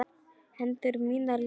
Hendur mínar líka hans.